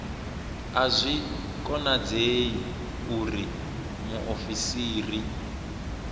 a zwi konadzei uri muofisiri